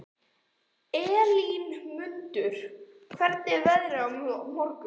Elínmundur, hvernig er veðrið á morgun?